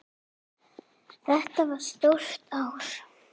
Þetta var stórt ár.